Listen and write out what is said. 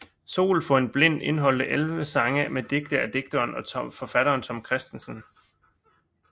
Sol for en Blind indeholdte 11 sange med digte af digteren og forfatteren Tom Kristensen